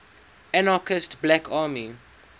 anarchist black army